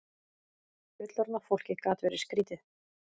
Fullorðna fólkið gat verið skrýtið.